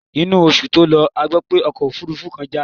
Inú oṣù tó lọ a gbó pé ọkọ̀ òfúrúfú kan já.